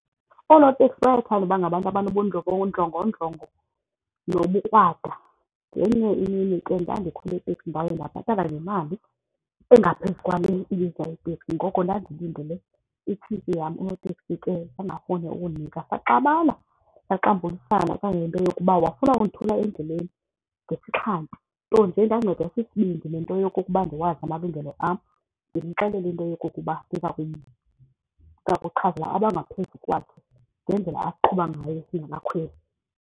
Oonotekisi bayathanda uba ngabantu abanobundlongondlongo nobukrwada. Ngenye imini ke ndandikhwele itekisi ndaye ndakhuphana nemali engaphezu kwale ibiza iteksi ngoko ndandilindele itshintshi yam, unoteksi ke bangafuni ukundinika. Saxabana saxambulisana kangangento yokuba wafuna ukundithula endleleni ngesixhantu, nto nje ndancedwa sisibindi nento yokokuba ndiwazi amalungelo am ndimxelele into yokokuba ndiza ndiza kuchazela abangaphezu kwakhe ngendlela asiqhuba ngayo singabakhweli.